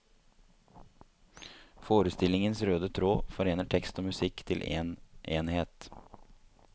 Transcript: Forestillingens røde tråd forener tekst og musikk til en enhet.